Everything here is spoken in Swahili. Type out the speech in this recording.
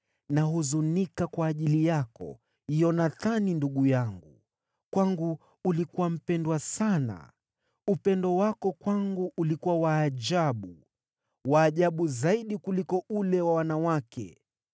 Nahuzunika kwa ajili yako, Yonathani ndugu yangu, kwangu ulikuwa mpendwa sana. Upendo wako kwangu ulikuwa wa ajabu, wa ajabu zaidi kuliko ule wa wanawake.